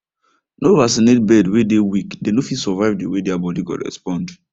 no vaccinate bird way dey weak dem no fit survive the way their body go respond